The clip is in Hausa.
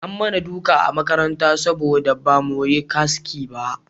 An mana duka a makaranta saboda ba mu yi haski ba